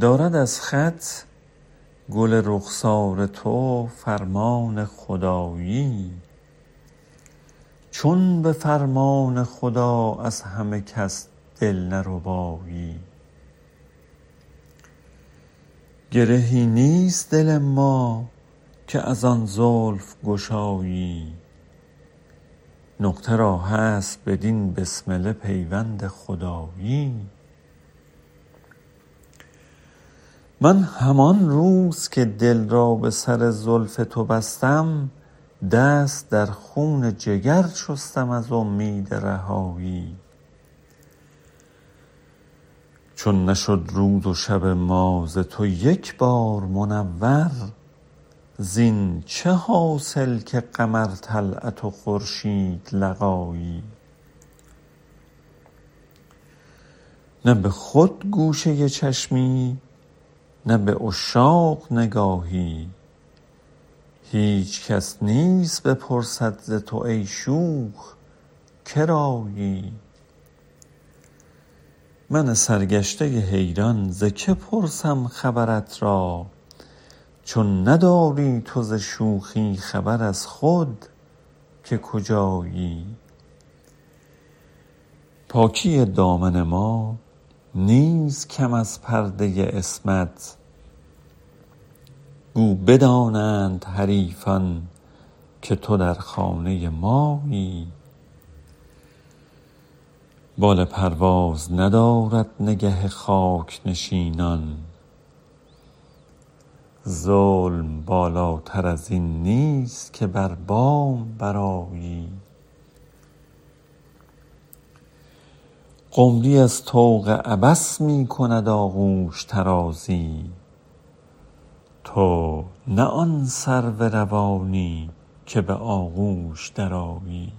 دارد از خط گل رخسار تو فرمان خدایی چون به فرمان خدا از همه کس دل نربایی گرهی نیست دل ما که ازان زلف گشایی نقطه را هست به این بسمله پیوند خدایی من همان روز که دل را به سر زلف تو بستم دست در خون جگر شستم از امید رهایی چون نشد روز و شب ما ز تو یک بار منور زین چه حاصل که قمر طلعت و خورشید لقایی نه به خود گوشه چشمی نه به عشاق نگاهی هیچ کس نیست بپرسد ز تو ای شوخ کرایی من سرگشته حیران ز که پرسم خبرت را چون نداری تو ز شوخی خبر از خود که کجایی پاکی دامن ما نیست کم از پرده عصمت گو بدانند حریفان که تو در خانه مایی بال پرواز ندارد نگه خاک نشینان ظلم بالاتر ازین نیست که بر بام برآیی قمری از طوق عبث می کند آغوش طرازی تو نه آن سرو روانی که به آغوش درآیی